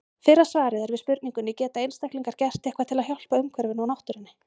Fyrra svarið er við spurningunni Geta einstaklingar gert eitthvað til að hjálpa umhverfinu og náttúrunni?